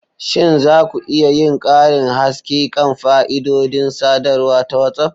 Shin za ku iya yin karin haske kan fa'idodin sadarwa ta WhatsApp?